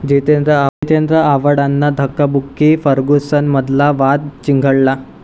जितेंद्र आव्हाडांना धक्काबुक्की, फर्ग्युसनमधला वाद चिघळला